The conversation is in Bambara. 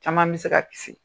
Caman bɛ se ka kisi